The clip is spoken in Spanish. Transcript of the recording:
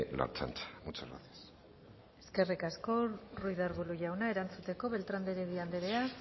la ertzaintza muchas gracias eskerrik asko ruiz de arbulo jauna erantzuteko beltrán de heredia anderea